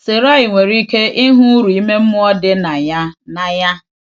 Sarai nwere ike ịhụ uru ime mmụọ dị na ya. na ya.